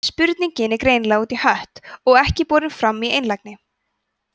spurning er greinilega út í hött og ekki borin fram í einlægni